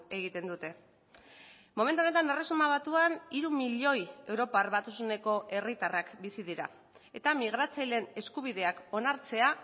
egiten dute momentu honetan erresuma batuan hiru milioi europar batasuneko herritarrak bizi dira eta migratzaileen eskubideak onartzea